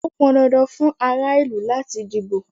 Ó pọn dandan fún ara ìlú láti díbó.